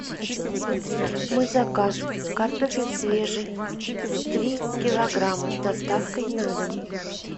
мой заказ картофель свежий три килограмма с доставкой на дом